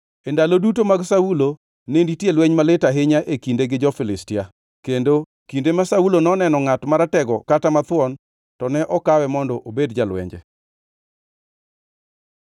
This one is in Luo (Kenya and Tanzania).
E ndalo duto mag Saulo ne nitie lweny malit ahinya e kinde gi jo-Filistia, kendo kinde ma Saulo noneno ngʼat maratego kata mathuon to ne okawe mondo obed jalwenje.